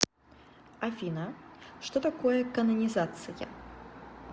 афина что такое канонизация